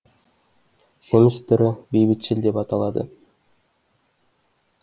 жеміс түрі бейбітшіл деп аталады